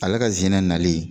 Ale ka ze in na nali